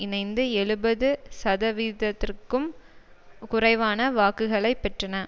இணைந்து எழுபது சதவீதத்திற்கும் குறைவான வாக்குகளை பெற்றன